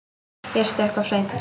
Ég stökk of seint.